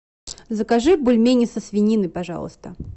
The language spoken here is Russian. закажи бульмени со свининой пожалуйста